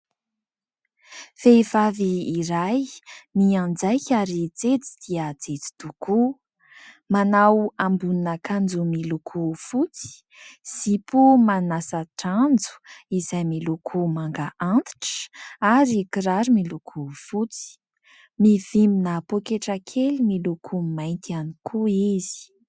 Vehivavy iray mianjaika ary jejo dia jejo tokoa. Manao ambonin'akanjo miloko fotsy, zipo manasa-dranjo izay miloko manga antitra ary kiraro miloko fotsy. Mivimbina poketra kely miloko mainty ihany koa izy